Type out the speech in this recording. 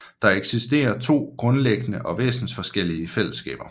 Der eksisterer to grundlæggende og væsensforskellige fællesskaber